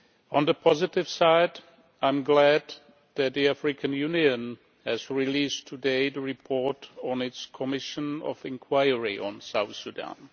On the positive side, I am glad that the African Union has released today the report of its Commission of inquiry on South Sudan.